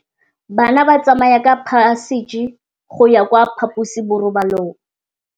Bana ba tsamaya ka phašitshe go ya kwa phaposiborobalong.